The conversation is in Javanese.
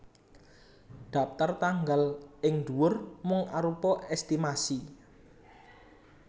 Dhaptar tanggal ing ndhuwur mung arupa èstimasi